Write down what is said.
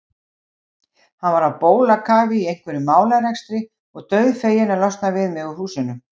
Hann var á bólakafi í einhverjum málarekstri og dauðfeginn að losna við mig úr húsinu.